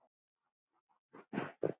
Enda var Atli engum líkur.